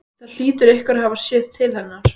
Það hlýtur einhver að hafa séð til hennar.